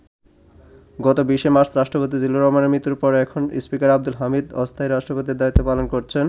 গত ২০শে মার্চ রাষ্ট্রপতি জিল্লুর রহমানের মৃত্যুর পর এখন স্পীকার আবদুল হামিদ অস্থায়ী রাষ্ট্রপতির দায়িত্ব পালন করেছেন।